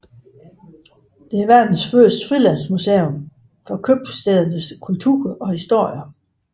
Det er verdens første frilandsmuseum for købstædernes kultur og historie